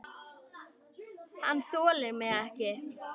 Hann þolir mig ekki.